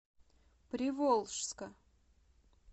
приволжска